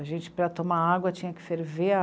A gente, para tomar água, tinha que ferver a